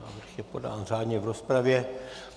Návrh je podán řádně v rozpravě.